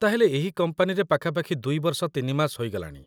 ତା'ହେଲେ ଏହି କମ୍ପାନୀରେ ପାଖାପାଖି ୨ ବର୍ଷ ୩ ମାସ ହୋଇଗଲାଣି?